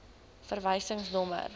verwysingsnommer